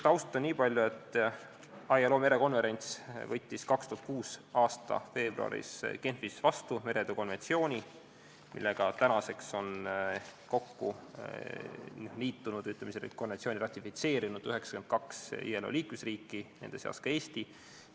Taustaks niipalju, et ILO merekonverents võttis 2006. aasta veebruaris Genfis vastu meretöö konventsiooni, mille tänaseks on ratifitseerinud 92 ILO liikmesriiki, nende seas ka Eesti.